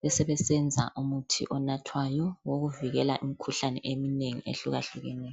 besebesenza umuthi onathwayo wokuvikela imikhuhlane eminengi ehlukahlukeneyo.